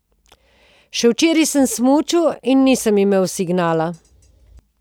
Še včeraj sem smučal in nisem imel signala.